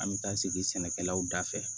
An bɛ taa sigi sɛnɛkɛlaw da fɛ